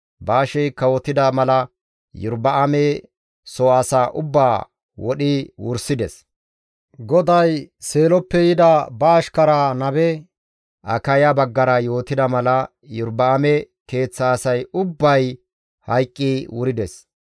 Baashey kawotida mala Iyorba7aame soo asaa ubbaa wodhi wursides; GODAY Seeloppe yida ba ashkaraa nabe Akaya baggara yootida mala Iyorba7aame keeththa asay ubbay hayqqi wurides.